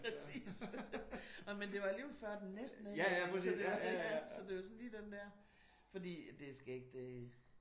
Lige præcis. Nå den det var alligevel før den næste nedlukning så det var lige den der. Fordi det er skægt det der